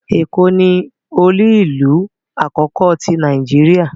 Eko ni olu-ilu akoko ti Nàìjíríà